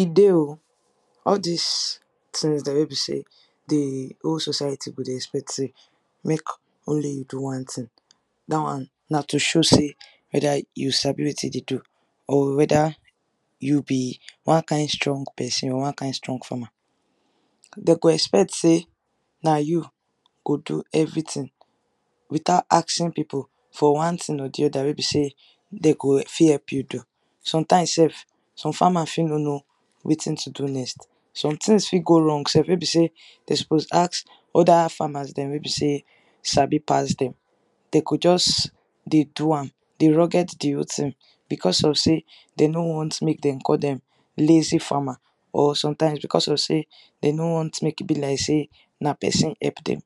E dey o, all dis tins dem wey be sey the whole society go dey expect sey make only you do one tin. Dat one na to show sey whether you sabi wetin you dey do or whether you be one kain strong pesin, or one kain strong foreman. De go expect sey na you go do everything without asking pipu for one tin or the other wey be sey de go fit help you do. Sometimes sef, some farmers fit no know wetin to do next. Some tins fit go wrong sef wey be sey de suppose ask other farmers dem wey be sey sabi pass dem. De go juz dey do am—dey rugged the whole tin— becos of sey de no wan make de call dem “lazy farmer,” or sometimes becos of sey de no want make e be like sey na peson help dem.